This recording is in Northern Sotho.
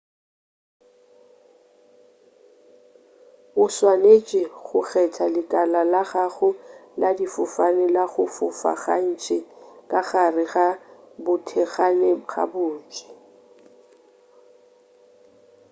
o swanetše go kgetha lekala la gago la difofane la go fofa gantši ka gare ga bothekgane gabotse